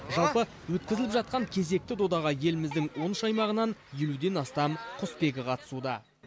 жалпы өткізіліп жатқан кезекті додаға еліміздің он үш аймағынан елуден астам құсбегі қатысуда